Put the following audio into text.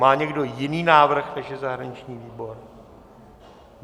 Má někdo jiný návrh než je zahraniční výbor?